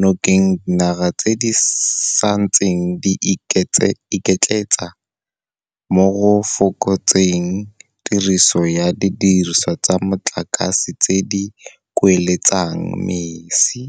nokeng dinaga tse di santseng di iketletsa mo go fokotseng tiriso ya didirisiwa tsa motlakase tse di kueletsang mesi.